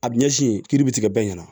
A bi ɲɛsin yen kiri bɛ tigɛ bɛɛ ɲɛna